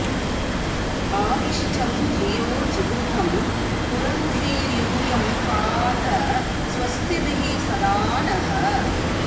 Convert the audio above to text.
अ॒वि॒ष्टं धियो॑ जिगृ॒तं पुरं॑धीर्यू॒यं पा॑त स्व॒स्तिभिः॒ सदा॑ नः